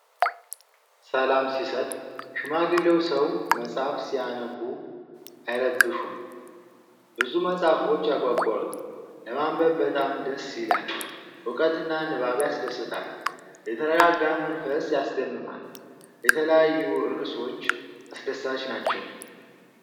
ሰላም ሲሰጥ! ሽማግሌው ሰው መጽሐፍ ሲያነቡ አይረብሹም። ብዙ መጽሐፎች ያጓጓሉ። ለማንበብ በጣም ደስ ይላል። እውቀትና ንባብ ያስደስታል። የተረጋጋ መንፈስ ያስደምማል። የተለያዩ ርዕሶች አስደሳች ናቸው።